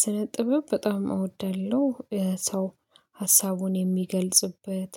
ስነ ጥበብ በጣም እወዳለሁ ሰው ሀሳቡን የሚገልጽበት